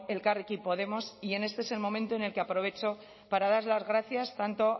elkarrekin podemos y este es el momento en el que aprovecho para dar las gracias tanto